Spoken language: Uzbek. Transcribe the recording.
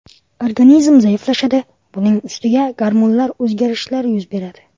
Organizm zaiflashadi, buning ustiga gormonal o‘zgarishlar yuz beradi.